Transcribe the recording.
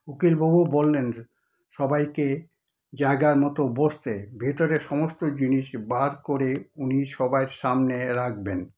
উকিলবাবু বললেন সবাইকে জায়গায় মতো বসতে, ভিতরের সমস্ত জিনিস বার করে উনি সবার সামনে রাখবেন।